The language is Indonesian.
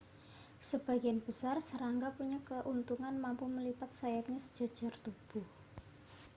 sebagian besar serangga punya keuntungan mampu melipat sayapnya sejajar tubuh